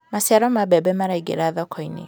maciaro ma mbembe maraingira thoko-inĩ